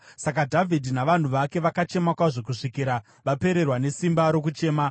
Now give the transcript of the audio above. Saka Dhavhidhi navanhu vake vakachema kwazvo kusvikira vapererwa nesimba rokuchema.